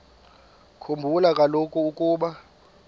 khumbula kaloku ukuba